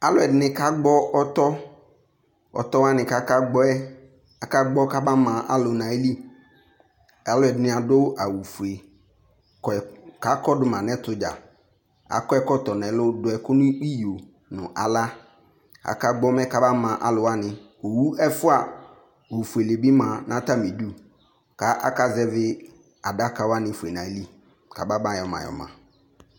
alò ɛdini ka gbɔ ɔtɔ ɔtɔ wani k'aka gbɔ yɛ aka gbɔ kaba ma alò n'ayili alò ɛdini adu awu fue kɔ k'akɔ do ma n'ɛto dza akɔ ɛkɔtɔ n'ɛlu do ɛkò n'iyo no ala aka gbɔ mɛ kama ma alòwani owu ɛfua n'ofuele bi ma n'atami du k'aka zɛvi adaka wani fue n'ayili k'aba ba yɔ ma yɔ ma